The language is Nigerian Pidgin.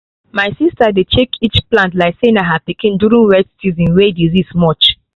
my sista dey check each plant like say na her pikin during wet season way disease much